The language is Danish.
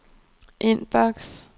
inbox